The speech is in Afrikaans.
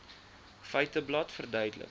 feiteblad verduidelik